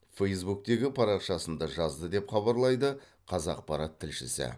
фэйсбуктегі парақшасында жазды деп хабарлайды қазақпарат тілшісі